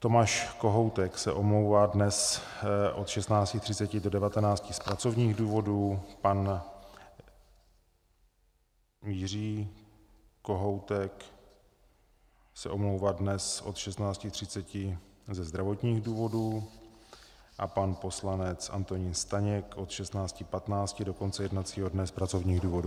Tomáš Kohoutek se omlouvá dnes od 16.30 do 19 z pracovních důvodů, pan Jiří Kohoutek se omlouvá dnes od 16.30 ze zdravotních důvodů a pan poslanec Antonín Staněk od 16.15 do konce jednacího dne z pracovních důvodů.